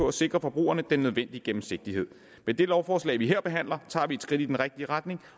at sikre forbrugerne den nødvendige gennemsigtighed med det lovforslag vi her behandler tager vi et skridt i den rigtige retning